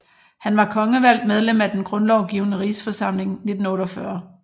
Han var kongevalgt medlem af Den Grundlovgivende Rigsforsamling 1848